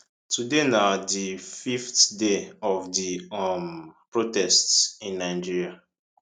today na di fifth day of di um protests in nigeria